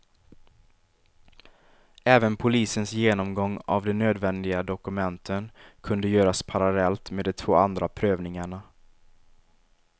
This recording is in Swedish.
Även polisens genomgång av de nödvändiga dokumenten kunde göras parallellt med de två andra prövningarna.